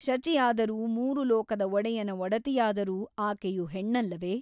ಶಚಿಯಾದರೂ ಮೂರು ಲೋಕದ ಒಡೆಯನ ಒಡತಿಯಾದರೂ ಆಕೆಯು ಹೆಣ್ಣಲ್ಲವೆ ?